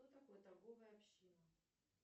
что такое торговая община